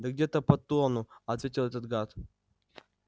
да где-то под тонну ответил этот гад